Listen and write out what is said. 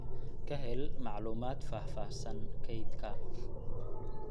Ka hel macluumaad faahfaahsan kaydka